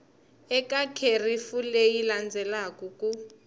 eka kherefu leyi landzelaka ku